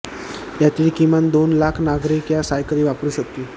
यातील किमान दोन लाख नागरिक या सायकली वापरू शकतील